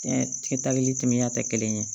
Kɛ taali temiya tɛ kelen ye